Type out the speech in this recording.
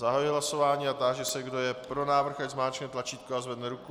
Zahajuji hlasování a táži se, kdo je pro návrh, ať zmáčkne tlačítko a zvedne ruku.